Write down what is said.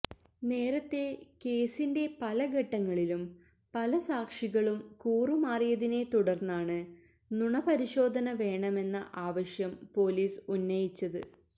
നേരത്തെ കേസിന്റെ പല ഘട്ടങ്ങളിലും പല സാക്ഷികളും കൂറുമാറിയതിനെ തുടര്ന്നാണ് നുണ പരിശോധന വേണമെന്ന ആവശ്യം പോലീസ് ഉന്നയിച്ചത്